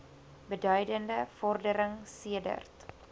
beduidende vordering sedert